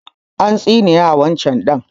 An tsine wa ɗan can